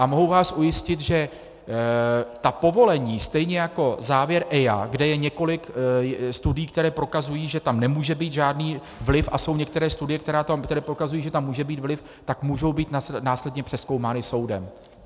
A mohu vás ujistit, že ta povolení, stejně jako závěr EIA, kde je několik studií, které prokazují, že tam nemůže být žádný vliv, a jsou některé studie, které prokazují, že tam může být vliv, tak můžou být následně přezkoumány soudem.